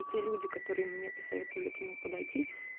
эти люди которые мне посоветовали к нему подойти